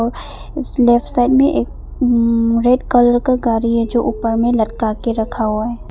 इस left side में एक रेड कलर का गाड़ी है जो ऊपर में लटका के रखा हुआ है।